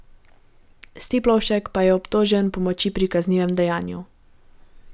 Stiplovšek pa je obtožen pomoči pri kaznivem dejanju.